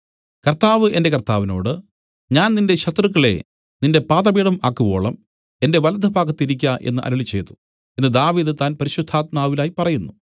കർത്താവ് എന്റെ കർത്താവിനോട് ഞാൻ നിന്റെ ശത്രുക്കളെ നിന്റെ പാദപീഠം ആക്കുവോളം എന്റെ വലത്തുഭാഗത്തിരിക്ക എന്നു അരുളിച്ചെയ്തു എന്നു ദാവീദ് താൻ പരിശുദ്ധാത്മാവിലായി പറയുന്നു